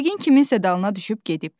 Yəqin kiminsə dalına düşüb gedib.